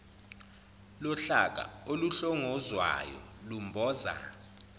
lohlaka oluhlongozwayo lumboza